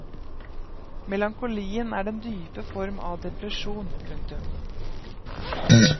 Melankolien er den dype form av depresjon. punktum